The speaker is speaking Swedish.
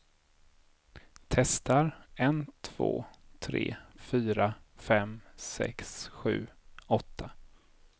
Testar en två tre fyra fem sex sju åtta.